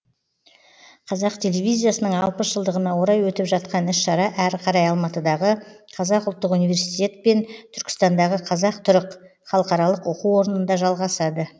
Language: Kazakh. қазақ телевизиясының алпыс жылдығына орай өтіп жатқан іс шара әрі қарай алматыдағы қазақ ұлттық университет пен түркістандағы қазақ түрік халықаралық оқу орнында жалғасады